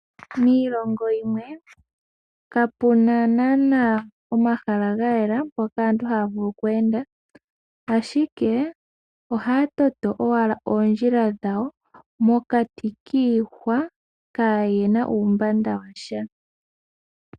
Miilongo yimwe kapena naana omahala gayela mpoka aantu haya vulu oku enda ,ashike ohaya toto owala oondjila dhawo mokati kiihwa kayena uumbanda washa.